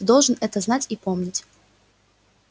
ты должен это знать и помнить